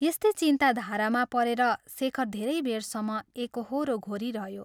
यस्तै चिन्ता धारामा परेर शेखर धेरै बेरसम्म एकोहोरो घोरिरह्यो।